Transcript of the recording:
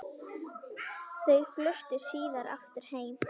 Þau fluttu síðar aftur heim.